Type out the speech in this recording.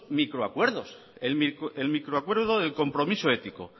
microacuerdos el microacuerdo el compromiso ético